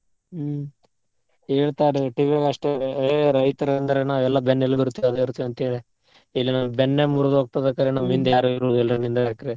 ಹ್ಮ್ ಹೇಳ್ತಾರೆ TV ಯಾಗ್ ಅಷ್ಟೇ ರೈತ್ರ್ ಅಂದ್ರ ನಾವೆಲ್ಲಾ ಬೆನ್ನೆಲುಬು ಇರ್ತಿವಿ ಅದ್ ಇರ್ತಿವಿ ಅಂತೇಳಿ ಇಲ್ಲಿ ನಮ್ಮ್ ಬೆನ್ನೆ ಮುರ್ದ್ ಹೋಗ್ತದೆ ಬೇಕಾರೆ ನಮ್ಮ್ ಹಿಂದ್ ಯಾರು ಇರುದಿಲ್ರಿ ನಿಂದ್ಕೊಳಕ್ಕೆ.